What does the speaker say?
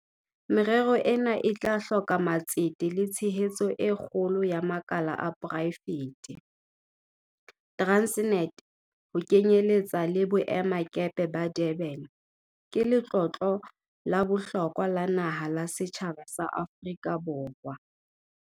Merero ena e tla hloka matsete le tshehetso e kgolo ya makala a poraefete. Transnet, ho kenyeletsa le boemakepe ba Durban, ke letlotlo la bohlokwa la naha la setjhaba sa Aforika Borwa.